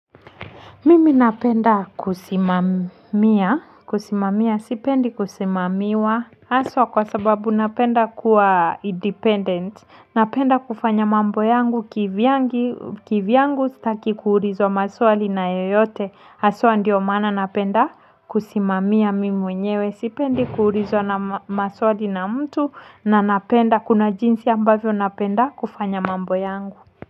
Mimi napenda kusimamia, kusimamia, sipendi kusimamiwa, haswa kwa sababu napenda kuwa independent, napenda kufanya mambo yangu kivyangu, kivyangu sitaki kuulizwa maswali na yoyote, haswa ndiyo maana napenda kusimamia mimi mwenyewe, sipendi kuulizana maswali na mtu na napenda, kuna jinsi ambavyo napenda kufanya mambo yangu.